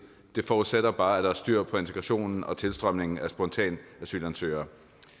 det forudsætter bare at der er styr på integrationen og tilstrømningen af spontanasylansøgere